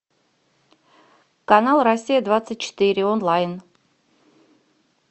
канал россия двадцать четыре онлайн